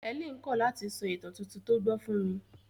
Helen kọ̀ láti sọ ìtàn tuntun tó gbọ́ fún mi.